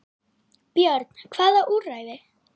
Björn: Hvaða úrræði?